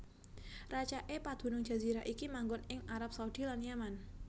Racaké padunung jazirah iki manggon ing Arab Saudi lan Yaman